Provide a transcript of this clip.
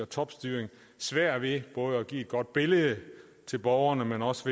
topstyring svært ved både at give et godt billede til borgerne men også